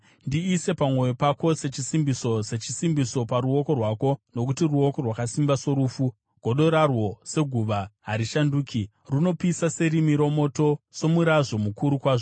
Ndiise pamwoyo pako sechisimbiso, sechisimbiso paruoko rwako; nokuti rudo rwakasimba sorufu, godo rarwo seguva harishanduki. Runopisa serimi romoto, somurazvo mukuru kwazvo.